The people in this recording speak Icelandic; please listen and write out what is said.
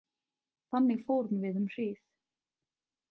Þannig fórum við um hríð.